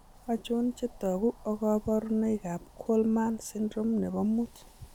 Achon chetogu ak kaborunoik Kallman syndrome nebo muut